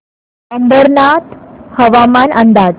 अंबरनाथ हवामान अंदाज